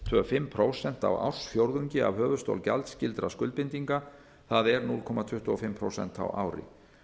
tvö fimm prósent á ársfjórðungi af höfuðstól gjaldskyldra skuldbindinga það er núll komma tuttugu og fimm prósent á ári